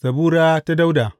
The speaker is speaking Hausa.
Zabura ta Dawuda.